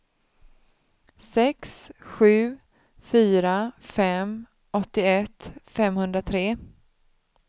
sex sju fyra fem åttioett femhundratre